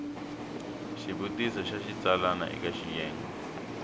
xivutiso xa xitsalwana eka xiyenge